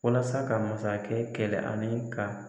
Walasa ka masakɛ kɛlɛ ani ka.